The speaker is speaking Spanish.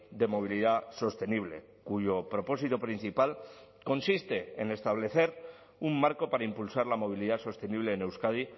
de movilidad sostenible cuyo propósito principal consiste en establecer un marco para impulsar la movilidad sostenible en euskadi